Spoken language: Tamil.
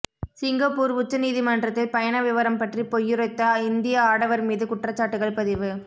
சிங்கப்பூர் உச்ச நீதிமன்றத்தில் பயண விவரம் பற்றி பொய்யுரைத்த இந்திய ஆடவர்மீது குற்றச்சாட்டுகள் பதிவு